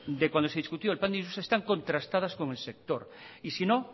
de cuando se discutió el plan están contrastadas con el sector y si no